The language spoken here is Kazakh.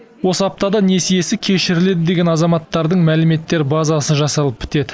осы аптада несиесі кешіріледі деген азаматтардың мәліметтер базасы жасалып бітеді